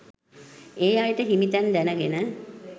ඒ අයට හිමි තැන් දැනගෙන